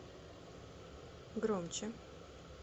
громче